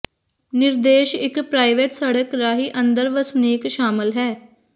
ਨਿਰਦੇਸ਼ ਇੱਕ ਪ੍ਰਾਈਵੇਟ ਸੜਕ ਰਾਹੀ ਅੰਦਰ ਵਸਨੀਕ ਸ਼ਾਮਲ ਹੈ